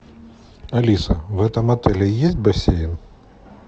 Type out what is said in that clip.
алиса в этом отеле есть бассейн